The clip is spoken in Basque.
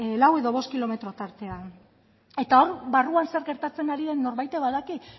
lau edo bost kilometro tartean eta hor barruan zer gertatzen ari den norbaitek badaki